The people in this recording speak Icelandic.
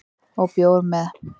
Og bjór með